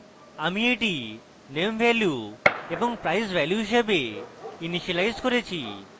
আমি এটি name value এবং price value হিসাবে ইনিসিয়েলাইজ করেছি